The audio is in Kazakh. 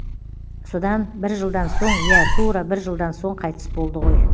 содан бір жылдан соң иә тура бір жылдан соң қайтыс болды ғой